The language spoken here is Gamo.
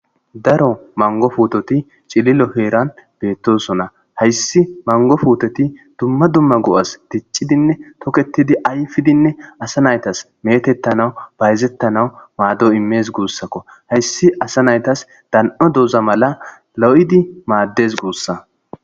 daro mango fuutoti cililo heeran beettosona hayssi mango fuutoti dumma dumma go'as diccidinne toketidi ayfidinne asa naytas metettanawu bayzettanawu maado imees guussakko hayssi asa naytas dan'o duuza mala lo'idi maaddes guussa